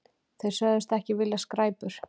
Þeir sögðust ekki vilja skræpur.